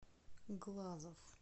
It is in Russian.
глазов